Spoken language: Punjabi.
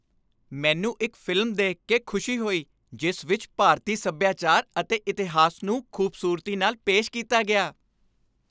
ਮੈਨੂੰ ਇੱਕ ਫ਼ਿਲਮ ਦੇਖ ਕੇ ਖੁਸ਼ੀ ਹੋਈ ਜਿਸ ਵਿੱਚ ਭਾਰਤੀ ਸੱਭਿਆਚਾਰ ਅਤੇ ਇਤਿਹਾਸ ਨੂੰ ਖ਼ੂਬਸੂਰਤੀ ਨਾਲ ਪੇਸ਼ ਕੀਤਾ ਗਿਆ।